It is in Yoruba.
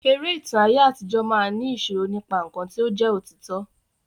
Eré ìtàn aye àtijọ máa ni sọ̀rọ̀ nípa nkán ti o jẹ òtítọ.